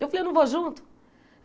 Eu falei, eu não vou junto?